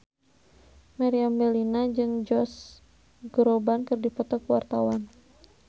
Meriam Bellina jeung Josh Groban keur dipoto ku wartawan